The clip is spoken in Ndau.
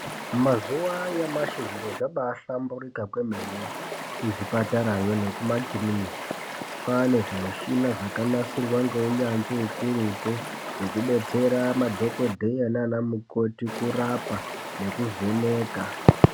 Mazuwa anyamashi, zviro zvabaa hlamburika kwemene, kuzvipatarayo nekuma kuriniki. Kwaane zvimuchhina zvakanasirwa ngeunyanzvi ukurutu. Zvekubetsera madhokodheya nanamukoti kurapa ne kuvheneka.